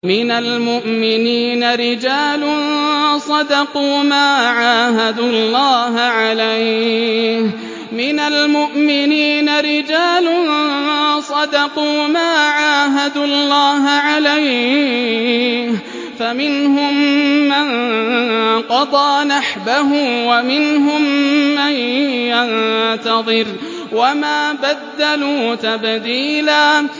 مِّنَ الْمُؤْمِنِينَ رِجَالٌ صَدَقُوا مَا عَاهَدُوا اللَّهَ عَلَيْهِ ۖ فَمِنْهُم مَّن قَضَىٰ نَحْبَهُ وَمِنْهُم مَّن يَنتَظِرُ ۖ وَمَا بَدَّلُوا تَبْدِيلًا